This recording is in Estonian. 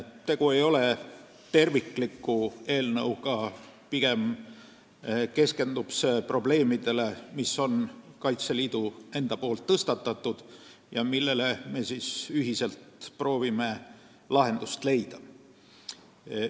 Tegu ei ole tervikliku eelnõuga, pigem keskendub see probleemidele, mis on Kaitseliidu enda tõstatatud ja millele me ühiselt proovime lahendust leida.